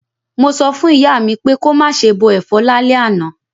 Mo so fún ìyá mi pé ko máse bo àwon èfọ́ lálẹ́ àná